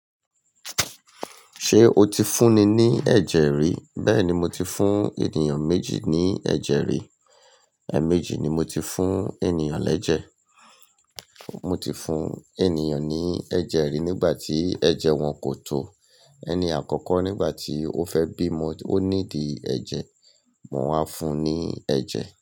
Ṣé o ti fún ni ní ẹ̀jẹ̀ rí? Bẹ́ẹ̀ni, mo ti fún ènìyàn méjì ní ẹ̀jẹ̀ rí. Ẹ̀méjì ni mo ti fún ènìyàn lẹ̀jẹ̀. Mo ti fún ènìyàn ní ẹ̀jẹ̀ rí nígbà tí ẹ̀jẹ̀ wọn kò tó. Ẹni àkọ́kọ́ nígbà tí ó fẹ́ bímo, ó need ẹ̀jẹ̀. Mo wà fún ní ẹ̀jẹ̀